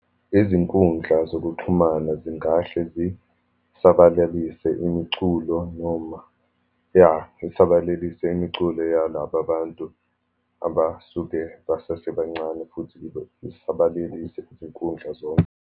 Izinkundla zokuxhumana zingahle zisabalalisa imiculo, noma iya isabalalise imiculo yalababantu abasuke besasebancane, futhi isabalalelise izinkundla zonke.